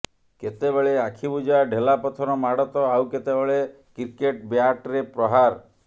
କେତେବେଳେ ଆଖିବୁଜା ଢେଲାପଥର ମାଡ଼ ତ ଆଉ କେତେବେଳେ କ୍ରିକେଟ ବ୍ୟାଟରେ ପ୍ରହାର